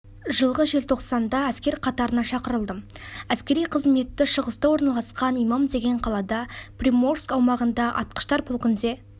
жылғы желтоқсанда әскер қатарына шақырылдым әскери қызметті шығыста орналасқан иман деген қалада приморск аумағында атқыштар полкінде